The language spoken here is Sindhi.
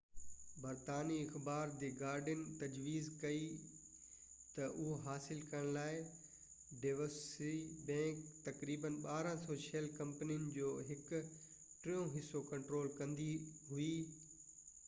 برطانوي اخبار دي گارڊين تجويز ڪئي ته اهو حاصل ڪرڻ لاءِ ڊيوٽشي بينڪ تقريبن 1200شيل ڪمپنين جو هڪ ٽيون حصو ڪنٽرول ڪندي هئي